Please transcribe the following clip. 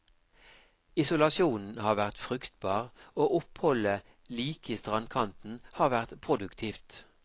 Isolasjonen har vært fruktbar, og oppholdet like i strandkanten har vært produktivt.